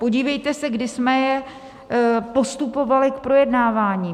Podívejte se, kdy jsme je postupovali k projednávání.